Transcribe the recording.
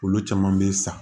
Olu caman bɛ sa